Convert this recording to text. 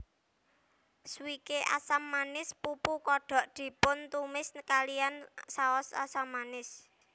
Swike asam manis pupu kodok dipuntumis kalihan saos asam manis